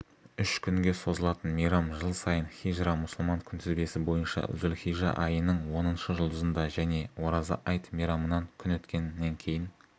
үш күнге созылатын мейрам жыл сайын хижра мұсылман күнтізбесі бойынша зүлхижа айының оныншы жұлдызында және ораза айт мейрамынан күн өткеннен кейін